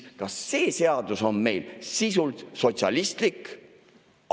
Kas see seadus on meil sisult sotsialistlik?